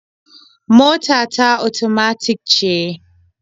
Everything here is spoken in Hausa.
Mota ta otomatik ce.